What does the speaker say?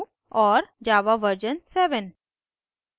java jre version 7